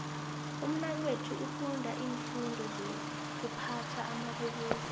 umnakwethu ufunda iimfundo sokuphatha amabubulo